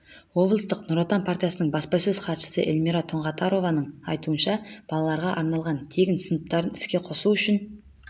облыстық нұр отан партиясының баспасөз хатшысы эльмира тұңғатарованың айтуынша балаларға арналған тегін сыныптарын іске қосу үшін